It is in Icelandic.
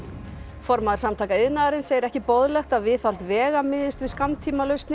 formaður Samtaka iðnaðarins segir ekki boðlegt að viðhald vega miðist við skammtímalausnir